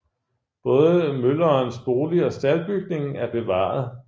Både møllerens bolig og staldbygningen er bevaret